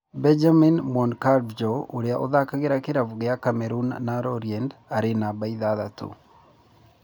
Benjamin Mounkandjo ũria ũthakagira kĩravũkĩa Cameroon na Lorient arĩ numba ithathatu.